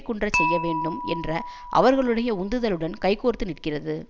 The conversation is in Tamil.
குன்றச் செய்யவேண்டும் என்ற அவர்களுடைய உந்துதலுடன் கைகோர்த்து நிற்கிறது